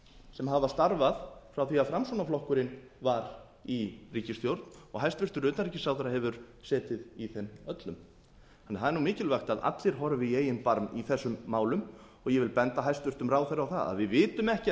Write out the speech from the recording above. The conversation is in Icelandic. sem hafa starfað frá því að framsóknarflokkurinn var í ríkisstjórn og hæstvirtur utanríkisráðherra hefur setið í þeim öllum það er mikilvægt að allir horfi í eigin barm í þessum málum og ég vil benda hæstvirtum ráðherra á það að við vitum